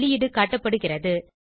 வெளியீடு காட்டப்படுகிறது